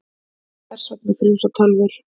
Hvers vegna frjósa tölvur?